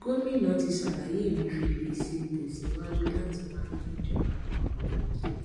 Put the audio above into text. gómìnà ti ṣàlàyé emefiele ṣe tèsíwájú láti máa yá ìjọba àpapò lówó